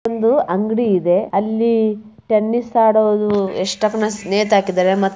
ಅಲ್ಲೊಂದು ಅಂಗಡಿ ಇದೆ ಅಲ್ಲಿ ಟೆನ್ನಿಸ್ ಆಡೋದು ಚಿತ್ರ ಹಾಕಿದರೆ.